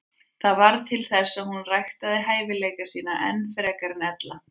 Það varð til þess að hún ræktaði hæfileika sína enn frekar en ella.